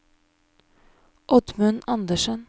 Oddmund Andersen